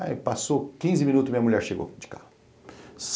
Aí passou quinze minutos e minha mulher chegou de carro.